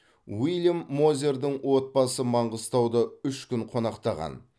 уильям мозердің отбасы маңғыстауда үш күн қонақтаған